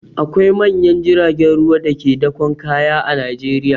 Akwai manyan jiragen ruwa da ke dakon kaya a Najeriya.